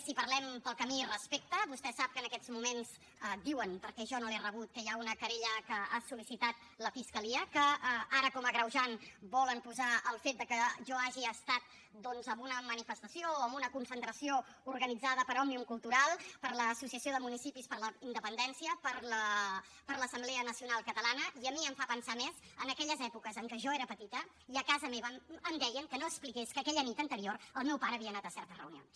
si parlem pel que a mi respecta vostè sap que en aquests moments diuen perquè jo no l’he rebut que hi ha una querella que ha sol·licitat la fiscalia en què ara com a agreujant volen posar el fet de que jo hagi estat doncs en una manifestació o en una concentració organitzada per òmnium cultural per l’associació de municipis per la independència per l’assemblea nacional catalana i a mi em fa pensar més en aquelles èpoques en què jo era petita i a casa meva em deien que no expliqués que aquella nit anterior el meu pare havia anat a certes reunions